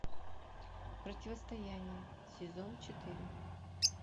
противостояние сезон четыре